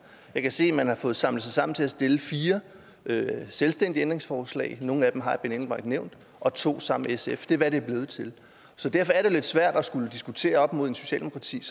jeg kan se at man har fået samlet sig sammen til at stille fire selvstændige ændringsforslag nogle af dem har herre benny engelbrecht nævnt og to sammen med sf det er hvad det er blevet til så derfor er det jo lidt svært at skulle diskutere op mod socialdemokratiet